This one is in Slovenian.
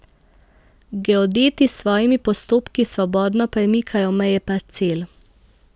Geodeti s svojimi postopki svobodno premikajo meje parcel.